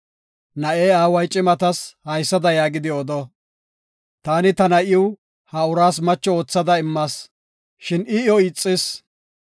Na7e aaway cimatas haysada yaagidi odo; “Taani ta na7iw ha uraas macho oothada immas, shin I, iyo ixis.